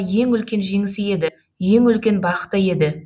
ең үлкен жеңісі еді ең үлкен бақыты еді